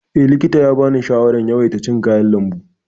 Eh, likita ya bani shawarar yawaita cin kayan lambu.